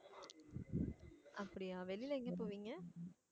அப்படியா வெளில எங்க போவீங்க